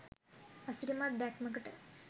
අසිරිමත් දැක්මකට